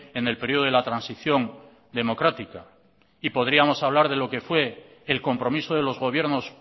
en el periodo de la transición democrática y podríamos hablar de lo que fue el compromiso de los gobiernos